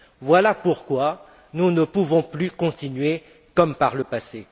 Voilà pourquoi nous ne pouvons plus continuer comme par le passé.